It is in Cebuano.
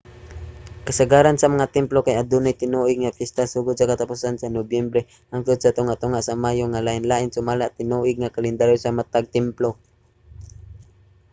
kasagaran sa mga templo kay adunay tinuig nga piyesta sugod sa katapusan sa nobyembre hangtod sa tunga-tunga sa mayo nga lain-lain sumala sa tinuig nga kalendaryo sa matag templo